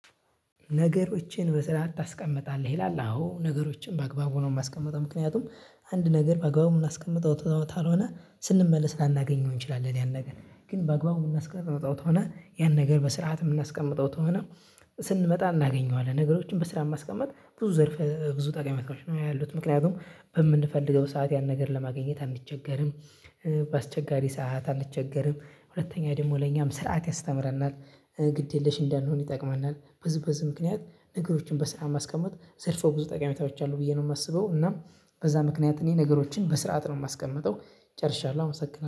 ነገሮችን በስራዓት ታስቀምጣለህ ይላል? አዎ ነገሮችን በአግባቡ ነው የማስቀምጠው ምክንያቱም አንድ ነገር በአግባቡ የምናስቀምጠው ካልሆነ ስንመለስ ላናገኘው እንችላለን ያን ነገር። ግን በአግባቡ የምናስቀምጠው ከሆነ ያን ነገር በስርዓት የምናስቀምጠው ከሆነ ስንመጣ እናገኘዋለን። ነገሮችን በስራዓት ማስቀመጥ ብዙ ዘርፍ ብዙ ጠቅሜታዎች ነው ያሉት ምክንያቱም በምንፈልገው ሰዓት ያን ነገር ለማግኘት አንቸገርም። በአስቸጋሪ ሰዓት አንቸገርም ሁለተኛ ደግሞ ለእኛም ስርዓት ያስተምረናል። ግድ የለሽ እንዳልሆነ ይጠቅመናል ብዙ በዚህ ምክንያት ነገሮችን በስራአት ማስቀመጥ ዘርፎ ብዙ ጠቃሚታዎች አሉ ብዬ ነው የማስበው። እና በዛ ምክንያት እኔ ነገሮችን በስርዓት ነው የማስቀምጠው። ጨርሻለሁ አመሰግናለሁ